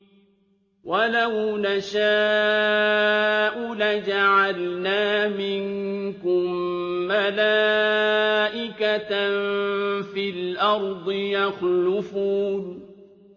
وَلَوْ نَشَاءُ لَجَعَلْنَا مِنكُم مَّلَائِكَةً فِي الْأَرْضِ يَخْلُفُونَ